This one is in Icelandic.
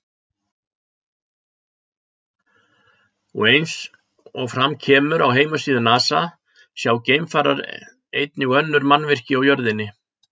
Og eins og fram kemur á heimasíðu Nasa sjá geimfarar einnig önnur mannvirki á jörðinni.